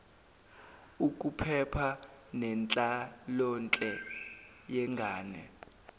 ukuphepha nenhlalonhle yengane